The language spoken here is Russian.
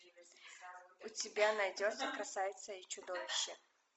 у тебя найдется красавица и чудовище